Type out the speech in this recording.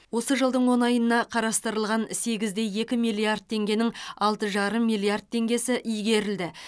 осы жылдың он айына қарастырылған сегізде екі миллиард теңгенің алты жарым миллиард теңгесі игерілді